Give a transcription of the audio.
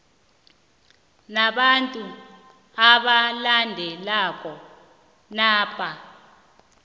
nabantu abalandelako napa